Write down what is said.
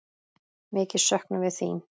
Mikið söknum við þín.